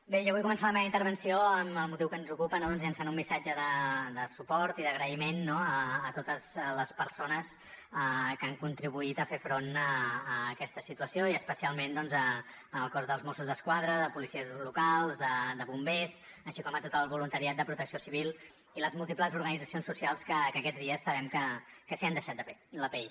bé jo vull començar la meva intervenció amb el motiu que ens ocupa doncs llançant un missatge de suport i d’agraïment no a totes les persones que han contribuït a fer front a aquesta situació i especialment al cos dels mossos d’esquadra de policies locals de bombers així com a tot el voluntariat de protecció civil i les múltiples organitzacions socials que aquests dies sabem que s’hi han deixat la pell